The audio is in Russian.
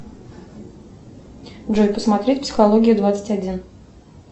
джой посмотри психология двадцать один